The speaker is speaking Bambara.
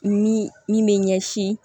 Ni min bɛ ɲɛsin